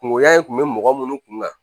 Kungoya kun bɛ mɔgɔ minnu kun kan